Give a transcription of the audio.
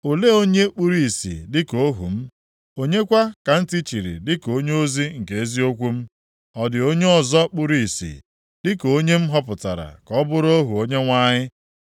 Olee onye kpuru ìsì dịka ohu m? Onye kwa ka ntị chiri dịka onyeozi nke eziokwu m? Ọ dị onye ọzọ kpuru ìsì dịka onye a m họpụtara ka ọ bụrụ ohu Onyenwe anyị?